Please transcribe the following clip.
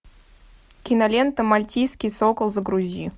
кинолента мальтийский сокол загрузи